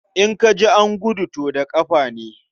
In ka ji an gudu, to da ƙafa ne.